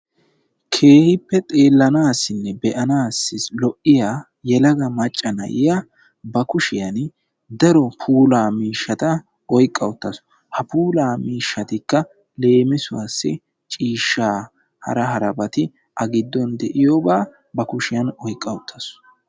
Keehippe xeellanaassinne be'anaassi lo'iya macca na'iya ba kushiyan daro puulaa miishshata oyqqa uttaasu. Ha puulaa miishshatikka leem, ciishshaa, hara harabati de'iyagaa ba kushiyan oyqqa uttaasu.